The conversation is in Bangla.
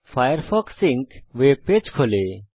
ফায়ারফক্স সিঙ্ক ওয়েবপেজ খোলে